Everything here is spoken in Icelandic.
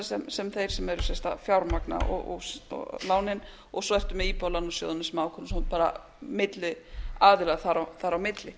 vegar sem þeir sem eru sem sagt að fjármagna lánin og svo aftur með í íbúðalánasjóðina sem ákveðinn bara milliaðila þar á milli